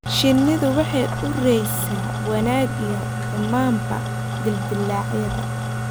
Shinnidu waxay uraysaa wanaag iyo xumaanba dildilaacyadooda.